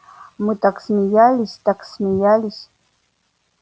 мы так смеялись так смеялись